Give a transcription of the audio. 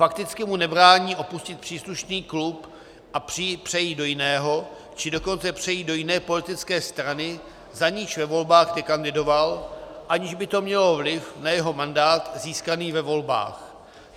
Fakticky mu nebrání opustit příslušný klub a přejít do jiného, či dokonce přejít do jiné politické strany, za niž ve volbách nekandidoval, aniž by to mělo vliv na jeho mandát získaný ve volbách.